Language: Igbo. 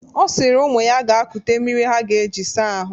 Ọ sịrị ụmụ ya ga kute mmiri ha ga-eji saa ahụ.